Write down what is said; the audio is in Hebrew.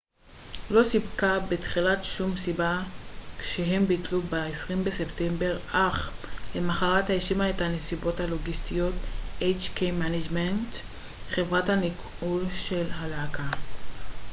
חברת הניהול של הלהקה hk management inc לא סיפקה בתחילה שום סיבה כשהם ביטלו ב-20 בספטמבר אך למחרת האשימה את הנסיבות הלוגיסטיות